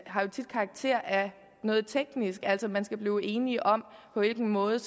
har jo tit karakter af noget teknisk altså at man skal blive enige om på hvilken måde